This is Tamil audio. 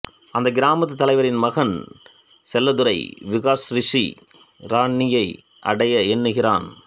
அந்த கிராமத்துத் தலைவரின் மகன் செல்லதுரையும் விகாஷ் ரிஷி ராணியை அடைய எண்ணுகிறான்